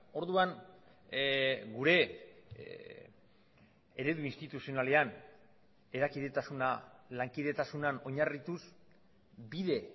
orduan gure eredu instituzionalean erakidetasuna lankidetasunean oinarrituz bide